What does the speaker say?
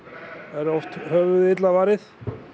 er oft höfuðið illa varið